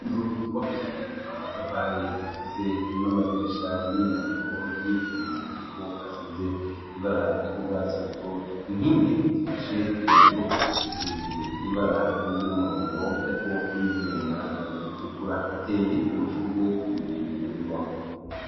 Inzu tubakishije amatavari zifise n'amadirisha n'imyango y'ivyuma ariko asize ibara ry'urwatsi rutoto. Inkingi zifashe iyo nzu zisize ibara ry'umuhondo ariko n'ibyuma bitukura, hateye amashurwe imbere y'iyo nyubako.